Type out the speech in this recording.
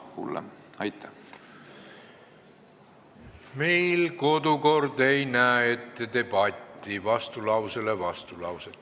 Meie kodukord ei näe ette debatti, vastulauset vastulausele.